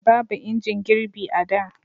babu injin girbi a da